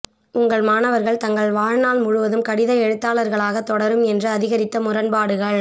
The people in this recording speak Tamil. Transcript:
உங்கள் மாணவர்கள் தங்கள் வாழ்நாள் முழுவதும் கடித எழுத்தாளர்களாக தொடரும் என்று அதிகரித்த முரண்பாடுகள்